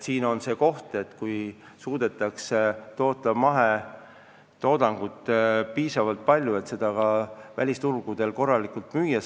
Eestis suudetakse toota mahetoodangut piisavalt palju, nii et seda saab ka välisturgudel müüa.